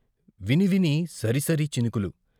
వినివిని, సరిసరి చినుకులు.